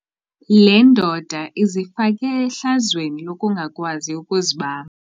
Le ndoda izifake ehlazweni lokungakwazi ukuzibamba.